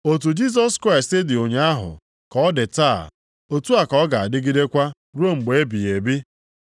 Otu Jisọs Kraịst dị ụnyaahụ, ka ọ dị taa, otu a ka ọ ga-adịgidekwa ruo mgbe ebighị ebi.